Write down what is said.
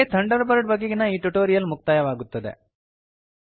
ಇಲ್ಲಿಗೆ Thunderbird ಬಗೆಗಿನ ಈ ಟ್ಯುಟೋರಿಯಲ್ ಮುಕ್ತಾಯವಾಗುತ್ತದೆ